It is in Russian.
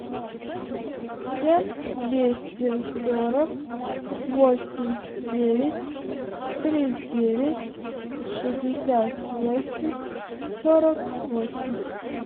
семь двести сорок восемь девять три девять шестьдесят восемь сорок восемь